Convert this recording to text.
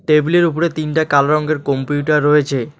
টেবিলের উপরে তিনটা কালো রঙ্গের কম্পিউটার রয়েছে।